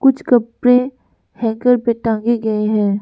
कुछ कपड़े हैंगर पे टांगे गए हैं।